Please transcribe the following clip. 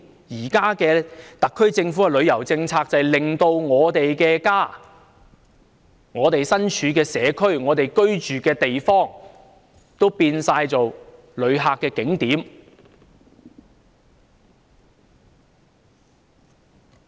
現時特區政府的旅遊政策，就令到我們的家、我們身處的社區、我們居住的地方都變成旅客的景點。